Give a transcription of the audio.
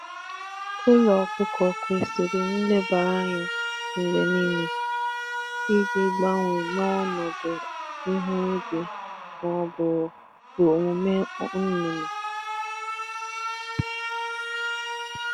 Ụlọ zụ anụ ọkụkọ chọrọ ilekọta mgbe niile ka e wee gbanwee ihe dabere na ihu igwe ma ọ bụ omume anụ ọkụkọ.